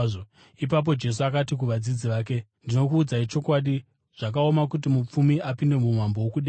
Ipapo Jesu akati kuvadzidzi vake, “Ndinokuudzai chokwadi, zvakaoma kuti mupfumi apinde muumambo hwokudenga.